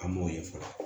An m'o ye fɔlɔ